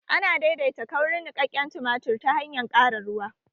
Ana daidaita kaurin niƙaƙƙen tumatir ta hanyar ƙara ruwa